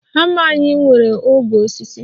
Hama anyị nwere ogwe osisi